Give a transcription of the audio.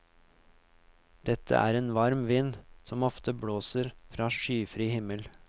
Dette er en varm vind, som ofte blåser fra skyfri himmel.